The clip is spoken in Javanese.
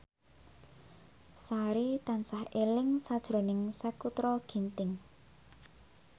Sari tansah eling sakjroning Sakutra Ginting